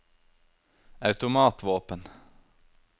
automatvåpen